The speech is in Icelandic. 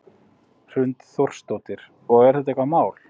Hrund Þórsdóttir: Og er þetta eitthvað mál?